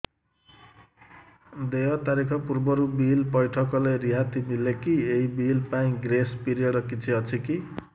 ଦେୟ ତାରିଖ ପୂର୍ବରୁ ବିଲ୍ ପୈଠ କଲେ ରିହାତି ମିଲେକି ଏହି ବିଲ୍ ପାଇଁ ଗ୍ରେସ୍ ପିରିୟଡ଼ କିଛି ଅଛିକି